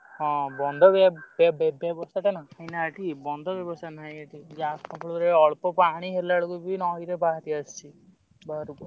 ହଁ ବନ୍ଧ ବି ଏ ବର୍ଷା ଟା ନା ଏଇନା ଏଠି ବନ୍ଧ ବ୍ୟବସ୍ଥା ନାହିଁ ଏଠି ଯାହା ଫଳରେ ଅଳ୍ପ ପାଣି ହେଲାବେଳକୁ ବି ନଈରେ ବାହାରି ଆସୁଚି ବାହାରକୁ।